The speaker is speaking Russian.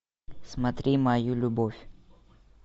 смотри мою любовь